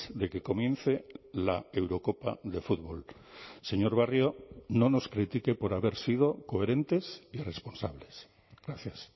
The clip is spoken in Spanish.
de que comience la eurocopa de fútbol señor barrio no nos critique por haber sido coherentes y responsables gracias